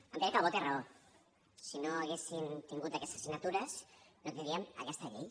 en pere calbó té raó si no haguessin tingut aquestes signatures no tindríem aquesta llei